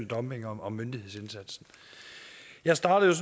dumping og myndighedsindsatsen jeg startede